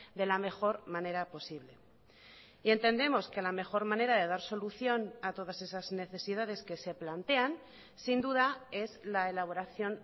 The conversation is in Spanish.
de la mejor manera posible y entendemos que la mejor manera de dar solución a todas esas necesidades que se plantean sin duda es la elaboración